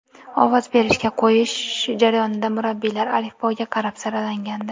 Ovoz berishga qo‘yish jarayonida murabbiylar alifboga qarab saralangandi.